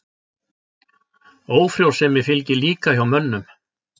Ófrjósemi fylgir líka hjá mönnum.